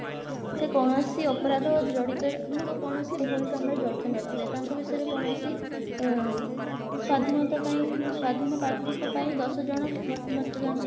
ସେ କୌଣସି ଅପରାଧ ଜଡିତ ମାନେ କୌଣସି ଭୁଲ କାମରେ ଜଡିତ ନଥିବେ ତାଙ୍କ ବିଷୟରେ କୌଣସି ମ ସ୍ଵାଧୀନତା ପାଇଁ ସ୍ଵାଧୀନ ପ୍ରାର୍ଥୀଙ୍କ ପାଇଁ ଦଶ ଜଣ vote ମତଦାନ